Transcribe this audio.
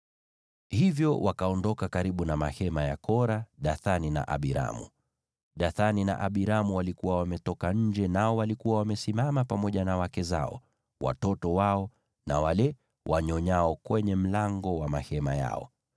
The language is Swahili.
Hivyo wakaondoka karibu na mahema ya Kora, Dathani na Abiramu. Dathani na Abiramu walikuwa wametoka nje, nao walikuwa wamesimama pamoja na wake zao, watoto wao na wale wanyonyao kwenye mlango wa mahema yao.